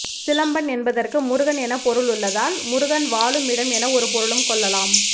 சிலம்பன் என்பதற்கு முருகன் எனப் பொருள் உள்ளதால் முருகன் வாழும் இடம் என ஒரு பொருளும் கொள்ளலாம்